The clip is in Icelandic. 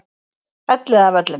Elliðavöllum